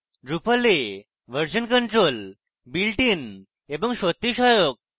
drupal এ version control builtin এবং সত্যিই সহায়ক